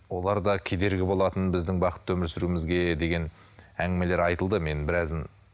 олар да кедергі болатын біздің бақытты өмір сүруімізге деген әңгімелер айтылды мен біразын